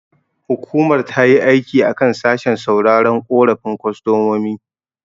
Hukumar tayi aiki a kan sashen sauraron korafin kostomomi.